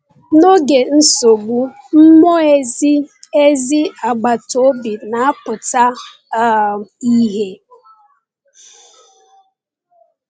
N’oge nsogbu, mmụọ ezi ezi agbata obi na-apụta um ìhè.